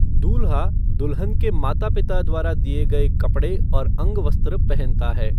दूल्हा दुल्हन के माता पिता द्वारा दिए गए कपड़े और अंगवस्त्र पहनता है।